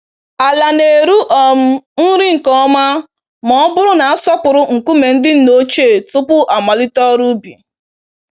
Ala na-eru um nri nke ọma m'ọbụrụ na-asọpụrụ nkume ndị nna ochie tupu amalite ọrụ ubi.